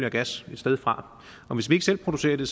og gas et sted fra og hvis vi ikke selv producerer det